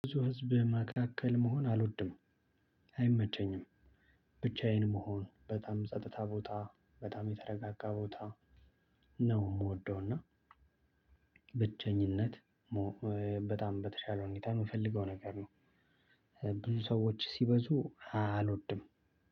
ብዙ ህዝብ መካከል መሆን አልወድም። አይመቸኝም። ብቻዬን መሆን በጣም ጸጥታ ቦታ የተረጋጋ ቦታ ነው የምወደው። እና ብቸኚነት በጣም በተሻለ ሁኔታ የምፈልገው ነገር ነው። ብዙ ሰዎች ሲበዙ አልወድም።